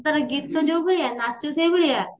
ତାର ଗୀତ ଯୋଉ ଭଳିଆ ନାଚ ସେଇ ଭଳିଆ